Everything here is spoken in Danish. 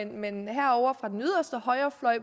men herovre fra den yderste højrefløj